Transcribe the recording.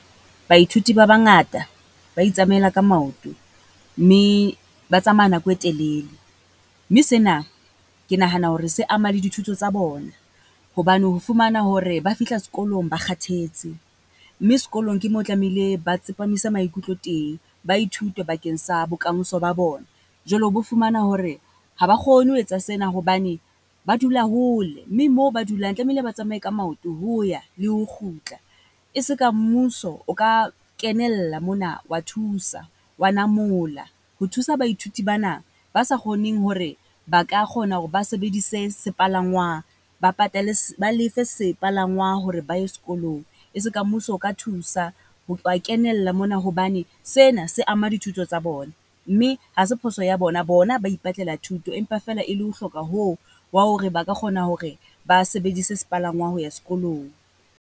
Baithuti ba bangata ba itsamaela ka maoto, mme ba tsamaya nako e telele mme sena ke nahana hore se ama le dithuto tsa bona. Hobane ho fumana hore ba fihla sekolong ba kgathetse mme sekolong ke mo tlamehile ba tsepamise maikutlo teng. Ba ithute bakeng sa bokamoso ba bona, jwalo o bo fumana hore ha ba kgone ho etsa sena hobane ba dula hole mme moo ba dulang tlamehile ba tsamae ka maoto, ho ya le ho kgutla. E se ka mmuso o ka kenella mona wa thusa, wa namola ho thusa baithuti bana, ba sa kgoneng hore ba ka kgona hore ba sebedise sepalangwang, ba patale ba lefe sepalangwang hore ba ye sekolong. E se ka mmuso o ka thusa ho ba kenella mona hobane sena se ama dithuto tsa bona, mme ha se phoso ya bona. Bona ba ipatlela thuto, empa feela e le ho hloka hoo, wa hore ba ka kgona hore ba sebedise sepalangwang ho ya sekolong.